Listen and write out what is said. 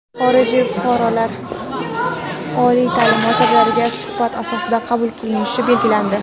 xorijiy fuqarolar oliy taʼlim muassasalariga suhbat asosida qabul qilinishi belgilandi.